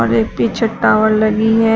और एक पीछे टावर लगी है।